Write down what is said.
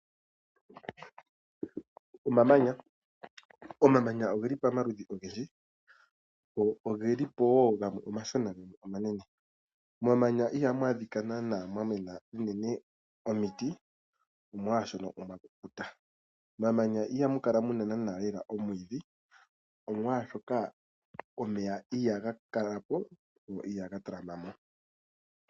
Omamanya! Omamanya oge li pomaludhi ogendji. Oge li po wo gamwe omashona gamwe omanene. Momamanya ihamu adhika nana mwa mena omiti omolwashoka omwa kukuta. Momamanya ihamu kala nana lela omwiidhi omolwashoka omeya ihaga kala po go ihaga talama po.